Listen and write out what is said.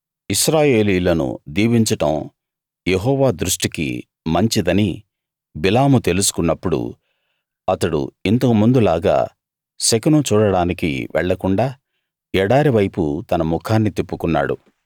ఇశ్రాయేలీయులను దీవించడం యెహోవా దృష్టికి మంచిదని బిలాము తెలుసుకున్నప్పుడు అతడు ఇంతకు ముందు లాగా శకునం చూడడానికి వెళ్ళకుండా ఎడారి వైపు తన ముఖాన్ని తిప్పుకున్నాడు